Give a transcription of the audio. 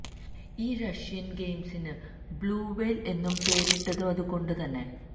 ഈ റഷ്യന് ഗെയിമിന് blue whale എന്നു പേരിട്ടതും അതുകൊണ്ടു തന്നെ